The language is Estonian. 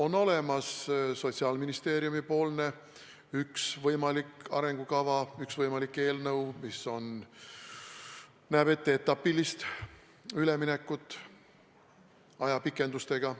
On olemas Sotsiaalministeeriumi üks võimalik arengukava, üks eelnõu, mis näeb ette etapilist üleminekut ajapikendustega.